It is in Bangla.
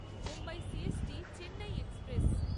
Mumbai C S T Chennai express